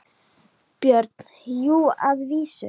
BJÖRN: Jú, að vísu.